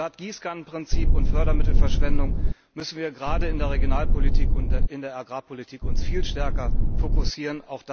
Statt Gießkannenprinzip und Fördermittelverschwendung müssen wir uns gerade in der Regionalpolitik und in der Agrarpolitik viel stärker fokussieren.